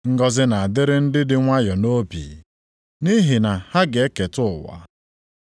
Ngọzị na-adịrị ndị dị nwayọọ nʼobi, nʼihi na ha ga-eketa ụwa.